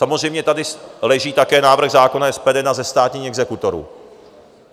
Samozřejmě tady leží také návrh zákona SPD na zestátnění exekutorů.